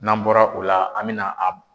N'an bɔra o la, an bɛna a